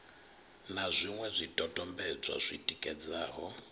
na zwiṅwe zwidodombedzwa zwi tikedzaho